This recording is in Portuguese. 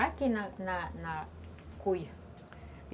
Aqui na na na cuia.